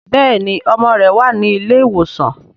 béèni ọmọ rẹ wá ní ilé ìwòsan.